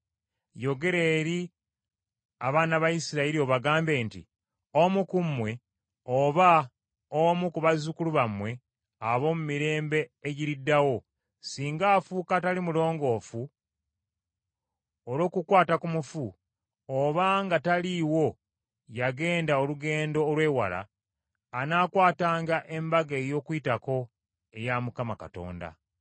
“Yogera eri abaana ba Isirayiri obagambe nti, ‘Omu ku mmwe, oba omu ku bazzukulu bammwe ab’omu mirembe egiriddawo, singa afuuka atali mulongoofu olw’okukwata ku mufu, oba nga taliiwo yagenda olugendo olw’ewala, anaakwatanga Embaga ey’Okuyitako eya Mukama Katonda.